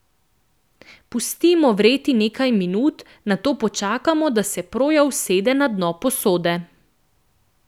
Pustimo vreti nekaj minut, nato počakamo, da se proja usede na dno posode.